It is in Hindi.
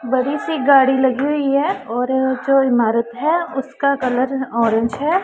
बड़ी सी गाड़ी लगी हुई है और जो ईमारत उसका कलर ओरेंज है।